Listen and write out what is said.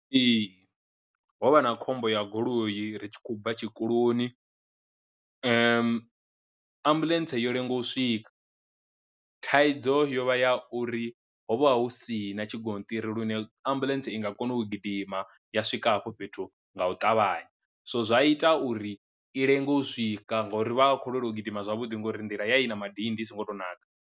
Ee, ho vha na khombo ya goloi ri tshi khou bva tshikoloni ambuḽentse yo lenga u swika, thaidzo yo vha ya uri hovha hu si na tshigonṱiri lune ambuḽentse i nga kona u gidima ya swika hafho fhethu nga u ṱavhanya, so zwa ita uri i lenge u swika ngori vha vha khou lwelwa u gidima zwavhuḓi ngori nḓila ya i na madindi i songo to naka.